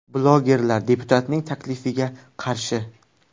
Blogerlar deputatning taklifiga qarshi.